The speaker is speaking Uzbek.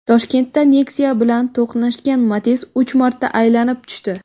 Toshkentda Nexia bilan to‘qnashgan Matiz uch marta aylanib tushdi.